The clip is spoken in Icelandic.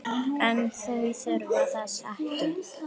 En þau þurfa þess ekki.